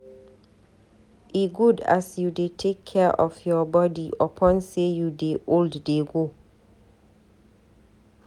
E good as you dey take care of your body upon sey you dey old dey go.